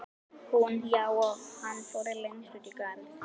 Hún: Já, og hann fór lengst út í garð.